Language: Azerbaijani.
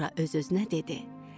Sonra öz-özünə dedi: